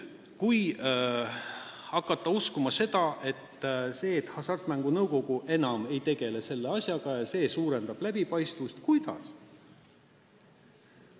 Kui hakata uskuma, et see, et Hasartmängumaksu Nõukogu enam ei tegele selle asjaga, suurendab läbipaistvust, siis tekib küsimus, et kuidas.